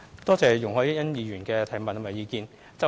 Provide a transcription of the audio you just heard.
感謝容海恩議員的補充質詢及意見。